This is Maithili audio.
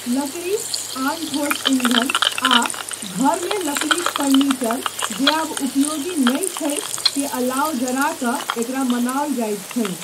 लकड़ी, आन ठोस ईंधन, आ घरमे लकड़ीक फर्नीचर, जे आब उपयोगी नहि छै, के अलाव जरा कऽ एकरा मनाओल जाइत छै।